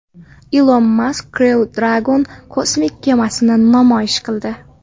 Ilon Mask Crew Dragon kosmik kemasini namoyish qildi.